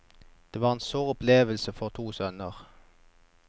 Det var en sår opplevelse for to sønner.